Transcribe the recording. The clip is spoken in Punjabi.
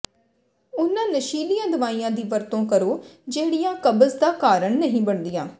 ਉਨ੍ਹਾਂ ਨਸ਼ੀਲੀਆਂ ਦਵਾਈਆਂ ਦੀ ਵਰਤੋਂ ਕਰੋ ਜਿਹੜੀਆਂ ਕਬਜ਼ ਦਾ ਕਾਰਨ ਨਹੀਂ ਬਣਦੀਆਂ